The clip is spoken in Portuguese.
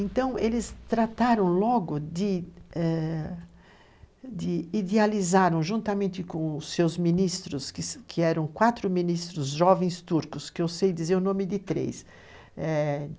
Então, eles trataram logo de eh idealizar, juntamente com seus ministros, que eram quatro ministros jovens turcos, que eu sei dizer o nome de três, eh